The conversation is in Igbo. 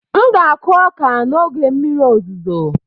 M ga-akụ ọka n'oge mmiri ozuzo